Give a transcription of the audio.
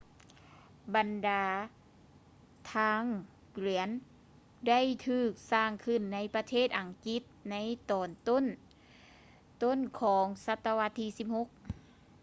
ບັນດາທາງກວຽນ ໄດ້ຖືກສ້າງຂຶ້ນໃນປະເທດອັງກິດໃນຕອນຕົ້ນໆຂອງສັດຕະວັດທີ 16